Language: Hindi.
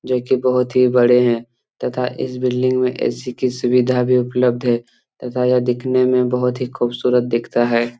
जो की बहुत ही बड़े है तथा इस बिल्डिंग में ऐ.सी की सुविधा भी उपलब्ध है तथा या दिखने में बहुत ही खूबसूरत दिखता है।